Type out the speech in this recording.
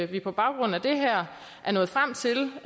vi på baggrund af det her er nået frem til